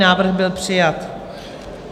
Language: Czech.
Návrh byl přijat.